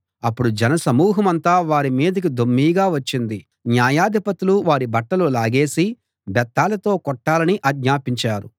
అప్పుడు జనసమూహమంతా వారి మీదికి దొమ్మీగా వచ్చింది న్యాయాధిపతులు వారి బట్టలు లాగేసి బెత్తాలతో కొట్టాలని ఆజ్ఞాపించారు